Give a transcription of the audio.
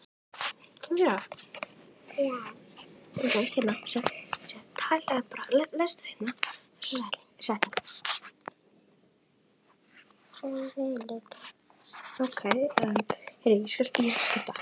Sérhver ný bók mun þó draga úr vægi þessarar greiningar.